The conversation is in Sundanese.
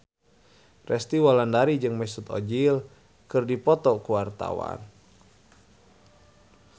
Resty Wulandari jeung Mesut Ozil keur dipoto ku wartawan